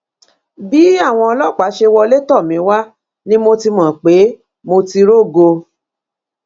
bí àwọn ọlọpàá ṣe wọlé tọ mí wá ni mo ti mọ pé mo ti rógo